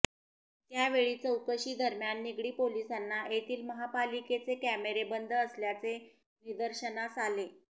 त्यावेळीही चौकशी दरम्यान निगडी पोलिसांना येथील महापालिकेचे कॅमेरे बंद असल्याचे निदर्शनास आले